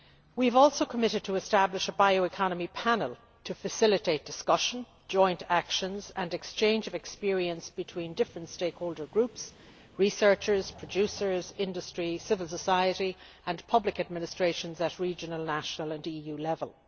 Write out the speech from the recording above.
We have also committed to establish a Bioeconomy Panel, to facilitate discussion, joint actions and exchange of experience between different stakeholder groups researchers, producers, industry, civil society, and public administrations at regional, national and EU level.